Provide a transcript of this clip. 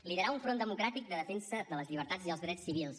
liderar un front democràtic de defensa de les llibertats i els drets civils